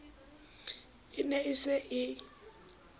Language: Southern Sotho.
e ne e se e